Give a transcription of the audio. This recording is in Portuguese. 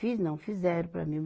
Fiz não, fizeram para mim.